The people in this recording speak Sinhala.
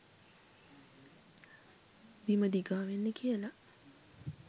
බිම දිගා වෙන්න කියලා.